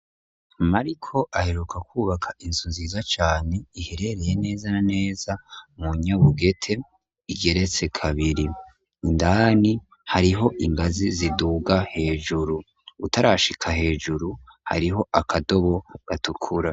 Mariko aheruka kwubaka insu ziza cane iherereye neza neza mu nyobugete igeretse kabiri indani hariho ingazi ziduga hejuru utarashika hejuru hariho akadobo gatukura.